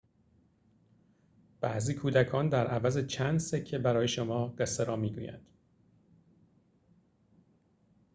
بعضی کودکان در عوض چند سکه برای شما قصه را می‌گویند